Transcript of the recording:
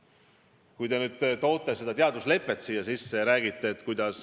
Siin on räägitud ka teadusleppest.